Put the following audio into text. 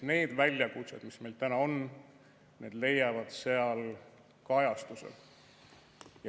Need väljakutsed, mis meil täna on, leiavad seal kajastuse.